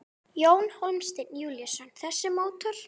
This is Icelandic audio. Jón Hólmsteinn Júlíusson: Þessi mótor?